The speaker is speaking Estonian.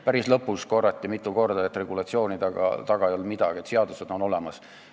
Päris lõpus korrati mitu korda, et regulatsioonide taha ei jäänud midagi, et seadused on olemas.